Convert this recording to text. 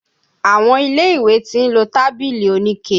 Àwọn ilé ìwé ti ń lo tábìlì oníke.